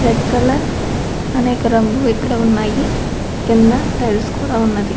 Red colour అనేక రంగులు ఇక్కడ ఉన్నాయి కింద టైల్స్ కూడ వున్నది.